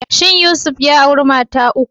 Shin Yusuf ya auri mata ta uku?